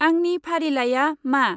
आंनि फारिलाइया मा?